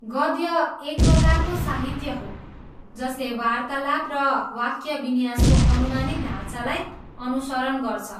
गद्य एक प्रकारको साहित्य हो जसले वार्तालाप र वाक्यविन्यासको अनुमानित ढाँचालाई अनुसरण गर्छ।